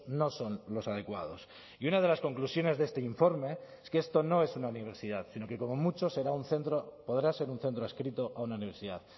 no son los adecuados y una de las conclusiones de este informe es que esto no es una universidad sino que como mucho será un centro podrá ser un centro adscrito a una universidad